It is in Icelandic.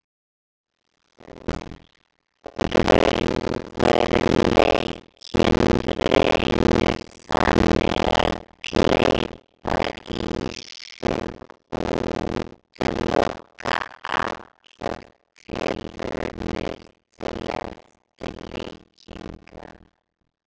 Raunveruleikinn reynir þannig að gleypa í sig og útiloka allar tilraunir til eftirlíkinga.